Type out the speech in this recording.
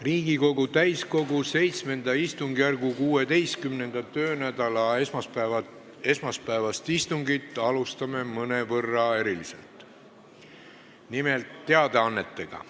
Riigikogu täiskogu VII istungjärgu 16. töönädala esmaspäevast istungit alustame mõnevõrra eriliselt, nimelt teadaannetega.